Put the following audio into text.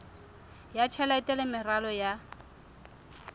ya tjhelete le meralo ya